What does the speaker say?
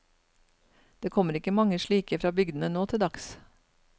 Det kommer ikke mange slike fra bygdene nå til dags.